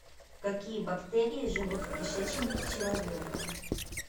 какие бактерии живут в кишечнике человека